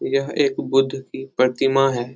यह एक बुद्ध की प्रतिमा है ।